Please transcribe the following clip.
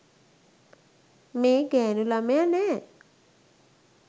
මේ ගැණු ළමයා නෑ.